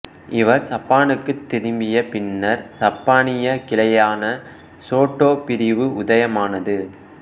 இவர் சப்பானுக்குத் திரும்பிய பின்னர் சப்பானிய கிளையான சோட்டோ பிரிவு உதயமானது